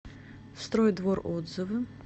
стройдвор отзывы